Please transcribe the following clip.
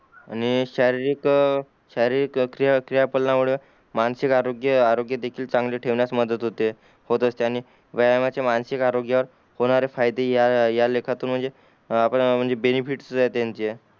आणि शारीरिक अ शारीरिक अ क्रिया क्रिया पालन मुळे मानसिक आरोग्य आरोग्य देखील चांगले ठेवण्यास देखील मदत होते होते असते आणि व्यायाम चे मानसिक आरोग्य होणारे फायदे या लेखातून म्हणजे अ बेनिफिट्स राहते त्यांचे